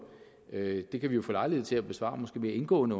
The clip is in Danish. det det kan vi jo få lejlighed til at besvare mere indgående